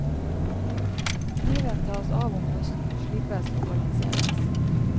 Kniven tas av om høsten, slipes og balanseres.